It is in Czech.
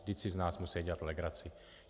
Vždyť si z nás musí dělat legraci.